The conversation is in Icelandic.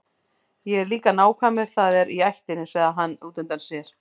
Ég er líka nákvæmur, það er í ættinni, sagði hann útundann sér.